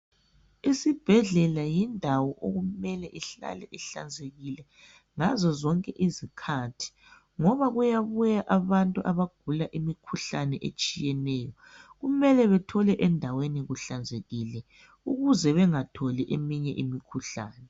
Isibhedlela yindawo okumele ihlale ihlanzekile ngazo zonke izikhathi ngoba kuyabuya abantu abagula imikhuhlane etshiyeneyo kumele bethole endaweni kuhlanzekile ukuze bengatholi enye imikhuhlane.